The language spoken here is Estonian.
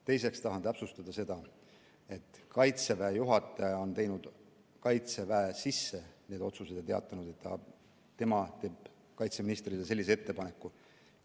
Teiseks tahan täpsustada seda, et Kaitseväe juhataja on need otsused teinud ja teatanud, et tema teeb kaitseministrile sellise ettepaneku.